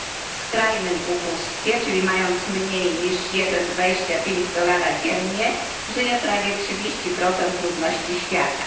W skrajnym ubóstwie, czyli mając mniej niż 1,25 dolara dziennie, żyje prawie trzydzieści procent ludności świata.